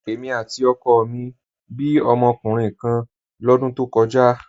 Èmi àti ọkọ mi bí ọmọkùnrin kan lọ́dún tó kọjá.